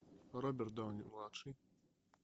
роберт дауни младший